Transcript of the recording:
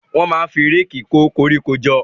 Wọ́n máa ń fi réèkì kó koríko jọ.